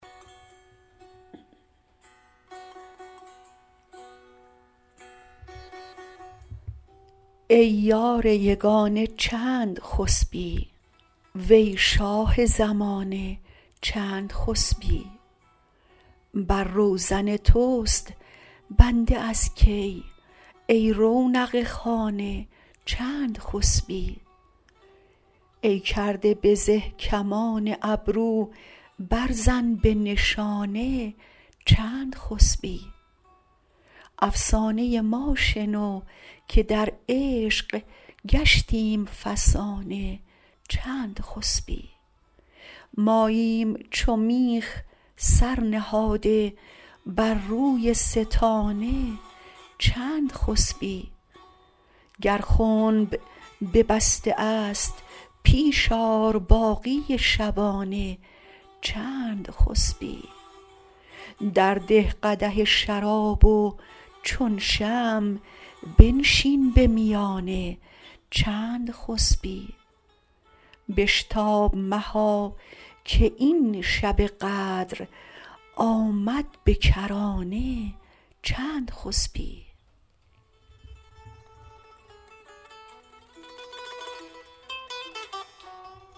ای یار یگانه چند خسبی وی شاه زمانه چند خسبی بر روزن توست بنده از کی ای رونق خانه چند خسبی ای کرده به زه کمان ابرو برزن به نشانه چند خسبی افسانه ما شنو که در عشق گشتیم فسانه چند خسبی ماییم چو میخ سر نهاده بر روی ستانه چند خسبی گر خنب ببسته است پیش آر باقی شبانه چند خسبی درده قدح شراب و چون شمع بنشین به میانه چند خسبی بشتاب مها که این شب قدر آمد به کرانه چند خسبی